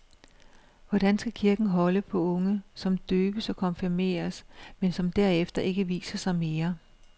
Hvordan skal kirken holde på unge, som døbes og konfirmeres, men som derefter ikke viser sig mere?